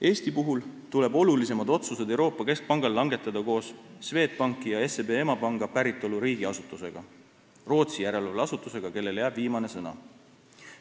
Eesti puhul tuleb olulisemad otsused Euroopa Keskpangal langetada koos Swedbanki ja SEB emapanga päritoluriigi asutusega – Rootsi järelevalveasutusega, kellele jääb viimane sõna.